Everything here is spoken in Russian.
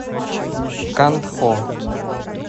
кантхо